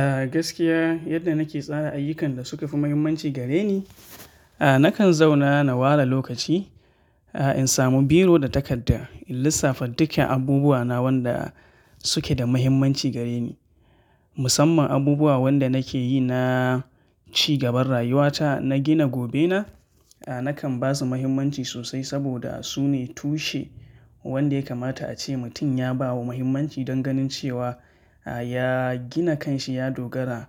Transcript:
A gaskiya yadda nake tsara ayyukan da suka fi muhimmanci gare ni, a nakan zauna na ware lokaci, a in samu biro da takarda in lissafa dukkan abubuwa na wanda suke da muhimmanci gare ni. Musamman abubuwa wanda nake yi na ci gaban rayuwa ta na gina gobe na, a nakan ba su muhimmanci sosai saboda su ne tushe wanda ya kamata a ce mutum ya bawa muhimmanci don ganin cewa ya gina kanshi ya dogara